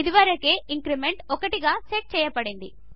ఇదివరకే ఇంక్రిమెంట్ 1 గా సెట్ చేయబడింది